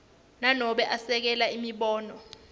nanobe esekela imibono